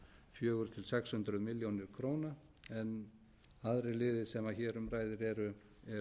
fjögur hundruð til sex hundruð milljóna króna en aðrir liðir sem hér um ræðir eru